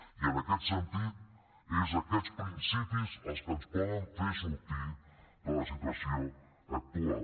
i en aquest sentit són aquests principis els que ens poden fer sortir de la situació actual